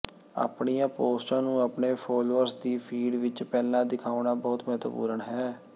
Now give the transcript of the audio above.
ਆਪਣੀਆਂ ਪੋਸਟਾਂ ਨੂੰ ਆਪਣੇ ਫਾਲੋਅਰਜ਼ ਦੀ ਫੀਡ ਵਿਚ ਪਹਿਲਾਂ ਦਿਖਾਉਣਾ ਬਹੁਤ ਮਹੱਤਵਪੂਰਣ ਹੈ